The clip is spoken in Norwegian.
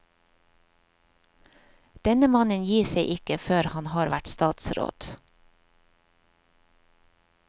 Denne mannen gir seg ikke før han har vært statsråd.